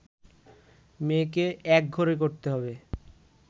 মেয়েকে একঘরে করতে হবে